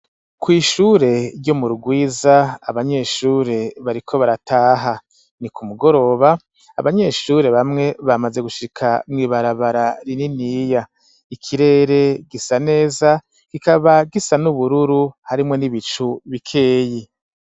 Kw'ishure ryo mu Rurwiza, abanyeshure bariko barataha, ni ku mugoroba abanyeshure bamwe bamaze gushika mw'ibarabara rininiya, ikirere gisa neza, kikaba gisa n'ubururu, harimwo n'ibicu bikeyi.